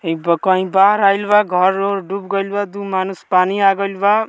इ कहीं बाढ़ आइल बा घर-उर डूब गइल बा दू मानुष पानी आ गइल बा।